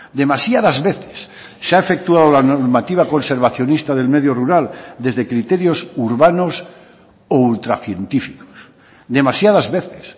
demasiadas veces se ha efectuado la normativa conservacionista del medio rural desde criterios urbanos o ultra científicos demasiadas veces